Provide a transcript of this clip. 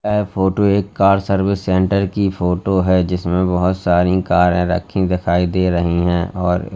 ए photo एक car service centre की photo है जिसमें बहोत सारी कार रखी दिखाई दे रही हैं और--